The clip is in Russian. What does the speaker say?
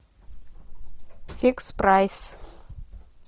фикс прайс